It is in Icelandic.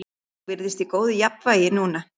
Hún virtist í góðu jafnvægi núna.